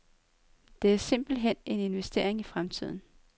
Det er simpelthen en investering i fremtiden.